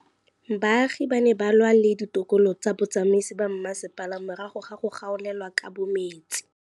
Baagi ba ne ba lwa le ditokolo tsa botsamaisi ba mmasepala morago ga go gaolelwa kabo metsi